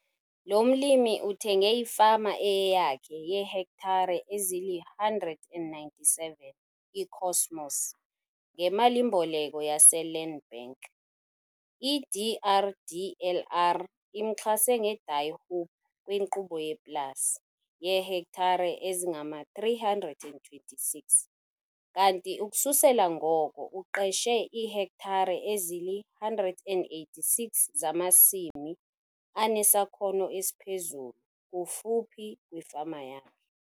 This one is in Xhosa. Lo mlimi uthenge ifama eyeyakhe yeehektare ezili-197, iKosmos, ngemali-mboleko yaseLand Bank. I-DRDLR imxhase ngeDie Hoop kwinkqubo yePLAS - yeehektare ezingama-326 kanti ukususela ngoko uqeshe iihektare ezili-186 zamasimi anesakhono esiphezulu kufuphi kwifama yakhe.